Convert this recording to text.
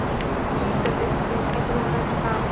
Í hita leiksins skiptir hún um ham.